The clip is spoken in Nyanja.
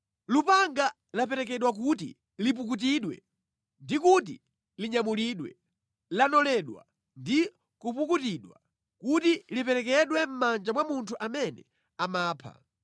“ ‘Lupanga laperekedwa kuti lipukutidwe, ndi kuti linyamulidwe, lanoledwa ndi kupukutidwa, kuti liperekedwe mʼmanja mwa munthu amene amapha.